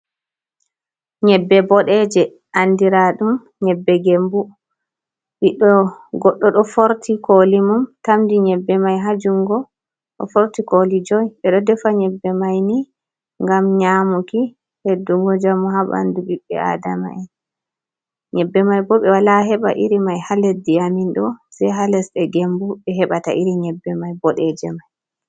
Nyebbe bodeje, andira dum nyebbe gembu goɗɗo ɗo forti koli mum tamdi nyebbe mai hajungo ɗo forti koli joi ɓeɗo defa nyebbe mai ni gam nyamuki heddugo jamu ha bandu biɓbe adama'en nyebbe mai bo be wala heɓa iri mai ha leddi amindo sei ha lesbe gembu be hebata iri nyebbe mai bodeje mai.